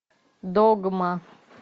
догма